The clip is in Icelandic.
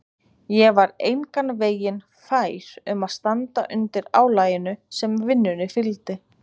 Ég var engan veginn fær um að standa undir álaginu sem vinnunni fylgdi.